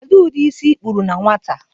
Kedu ụdị isi ịkpụrụ na nwata?